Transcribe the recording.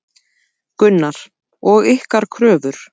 Gunnar: Og ykkar kröfur?